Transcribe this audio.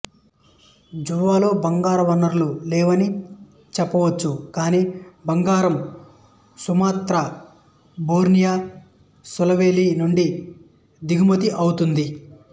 జావాలో బంగారు వనరులు లేవని చెప్పవచ్చు కానీ బంగారం సుమత్రా బోర్నియో సులవేసి నుండి దిగుమతి అవుతుంది